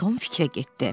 Tom fikrə getdi.